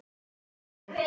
Við vorum sterkar konur.